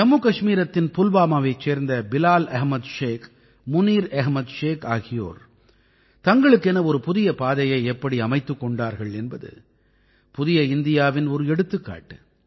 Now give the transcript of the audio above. ஜம்முகஷ்மீரத்தின் புல்வாமாவைச் சேர்ந்த பிலால் அஹ்மத் ஷேக் முனீர் அஹ்மத் ஷேக் ஆகியோர் தங்களுக்கென ஒரு புதிய பாதையை எப்படி அமைத்துக் கொண்டார்கள் என்பது புதிய இந்தியாவின் ஒரு எடுத்துக்காட்டு